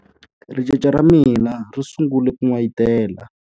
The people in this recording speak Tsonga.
Ricece ra mina ri sungule ku n'wayitela.